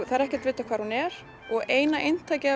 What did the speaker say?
það er ekkert vitað hvar hún er eina eintakið